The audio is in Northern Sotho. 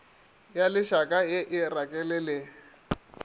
ya lešaka e e rakelele